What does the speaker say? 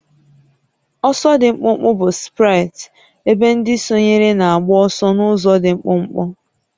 Ọsọ dị mkpụmkpụ bụ sprint ebe ndị sonyere na-agba ọsọ n'ụzọ dị mkpụmkpụ